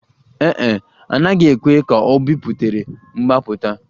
Ee e, a naghị ekwe ka ọ biputere mgbapụta